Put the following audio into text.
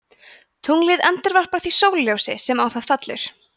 tunglið endurvarpar því sólarljósi sem á það fellur